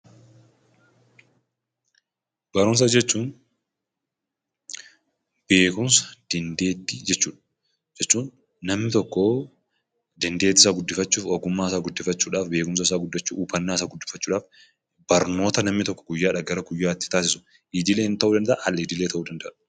Barumsa jechuun; beekumsa, dandeetti jechuudha. Jechuun, namni tokkoo dandeetti isaa guddifaachudhaaf, beekumsa isaa guddifaachudhaaf, hubaanna isaa guddifaachuudhaaf barnoota namni tokko guyyaadhaa garaa guyyaatti taasisuu idileen ta'u danda'aa al-idileedhaan ta'u danda'aa